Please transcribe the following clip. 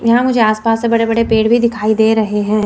यहाँ मुझे आस पास से बड़े बड़े पेड़ भी दिखाई दे रहे हैं।